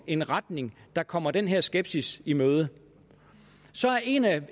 en retning der kommer den her skepsis i møde